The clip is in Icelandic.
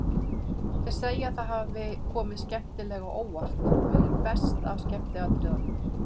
Þeir segja að það hafi komið skemmtilega á óvart, verið best af skemmtiatriðunum.